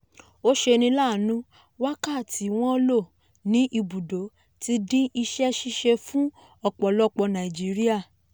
ó ṣeni láàánú wákàtí wọ́n lò ní ibùdó ti dín iṣẹ́ ṣíṣe fún ọ̀pọ̀lọpọ̀ nàìjíríà.